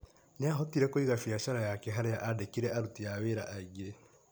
Nĩahotire kũiga biacara ciake harĩa andĩkire aruti a wĩra aingĩ.